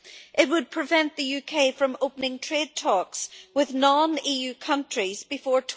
It would prevent the UK from opening trade talks with non-EU countries before